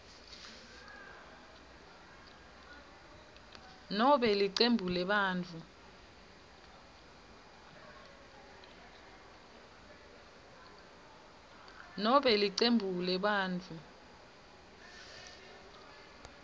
nobe licembu lebantfu